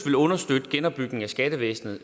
vil understøtte genopbygningen af skattevæsenet